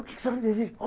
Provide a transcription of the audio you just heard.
O que a senhora deseja?